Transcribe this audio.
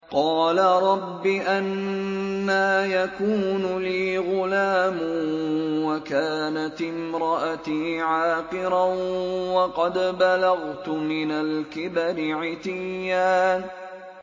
قَالَ رَبِّ أَنَّىٰ يَكُونُ لِي غُلَامٌ وَكَانَتِ امْرَأَتِي عَاقِرًا وَقَدْ بَلَغْتُ مِنَ الْكِبَرِ عِتِيًّا